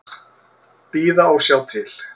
Bíða og sjá til.